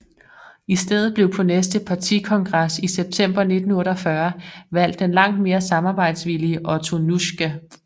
I stedet blev på næste partikongres i september 1948 valgt den langt mere samarbejdsvillige Otto Nuschke